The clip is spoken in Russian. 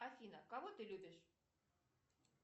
афина кого ты любишь